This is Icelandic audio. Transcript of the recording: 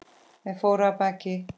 Þeir fóru af baki.